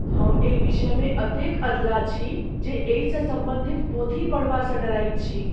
हम एहि विषयमे एतेक अधलाह छी जे एहिसँ सम्बन्धित पोथी पढ़बासँ डरैत छी।